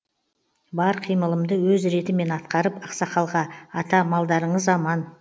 бар қимылымды өз ретімен атқарып ақсақалға ата малдарыңыз аман